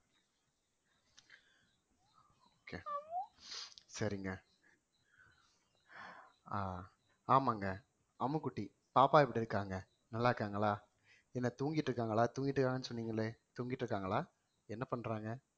சரிங்க ஆஹ் ஆமாங்க அம்முக்குட்டி பாப்பா எப்படி இருக்காங்க நல்லா இருக்காங்களா என்ன தூங்கிட்டு இருக்காங்களா தூங்கிட்டு இருக்காங்கன்னு சொன்னீங்களே தூங்கிட்டு இருக்காங்களா என்ன பண்றாங்க